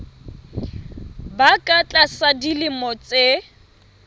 ba ka tlasa dilemo tse